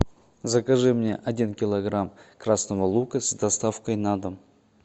закажи мне один килограмм красного лука с доставкой на дом